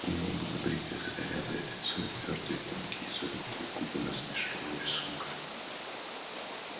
у него было бритое загорелое лицо и твёрдые тонкие изогнутые губы насмешливого рисунка